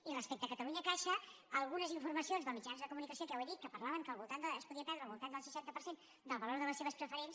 i respecte a catalunyacaixa algunes informacions de mitjans de comunicació que ja ho he dit que parlaven que es podia perdre al voltant del seixanta per cent del valor de les seves preferents